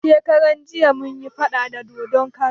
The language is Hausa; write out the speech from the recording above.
Shekaran jiya mun yi faɗa da dodon kara